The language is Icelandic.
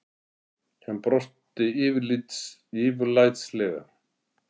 Hann brosti yfirlætislega.